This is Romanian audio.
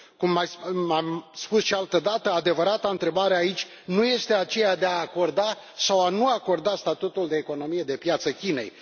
Cum am spus și altă dată, adevărata întrebare aici nu este aceea de a acorda sau a nu acorda statutul de economie de piață Chinei.